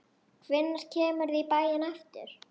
Hvenær kemurðu í bæinn aftur?